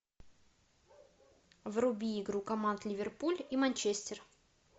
вруби игру команд ливерпуль и манчестер